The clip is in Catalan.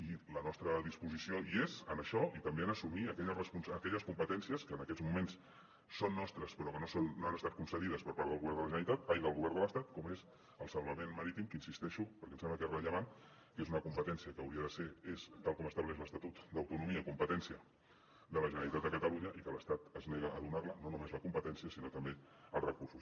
i la nostra disposició hi és en això i també en assumir aquelles competències que en aquests moments són nostres però que no han estat concedides per part del govern de l’estat com és el salvament marítim que insisteixo perquè em sembla que és rellevant que és una competència que hauria de ser és tal com estableix l’estatut d’autonomia competència de la generalitat de catalunya i que l’estat es nega a donar la no només la competència sinó també els recursos